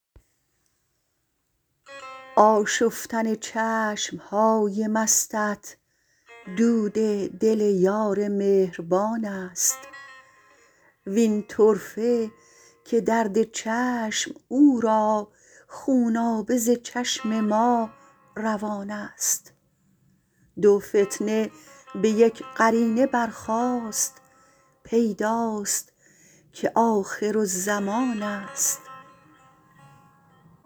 آشفتن چشم های مستت دود دل یار مهربانست وین طرفه که درد چشم او را خونابه ز چشم ما روانست دو فتنه به یک قرینه برخاست پیداست که آخرالزمانست